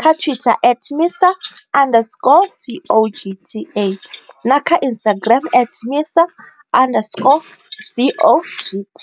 kha Twitter at MISA underscore CoGTA na kha Instagram at MISA underscore CoGT.